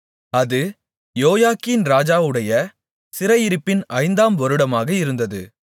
அது யோயாக்கீன் ராஜாவுடைய சிறையிருப்பின் ஐந்தாம் வருடமாக இருந்தது